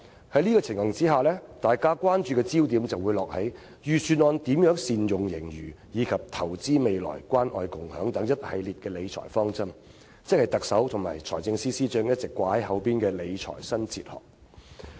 在這情況下，大家關注的焦點便落在財政預算案如何善用盈餘，以及投資未來和關愛共享等一系列理財方針，即特首和財政司司長一直掛在嘴邊的"理財新哲學"。